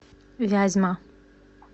вязьма